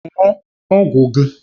Ṅụọ ọgwụ gị!